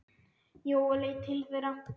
Jói leit til þeirra.